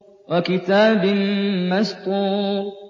وَكِتَابٍ مَّسْطُورٍ